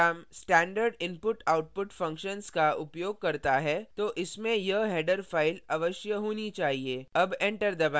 जब कोई program standard input/output functions का उपयोग करता है तो इसमें यह header फ़ाइल header file अवश्य होनी चाहिए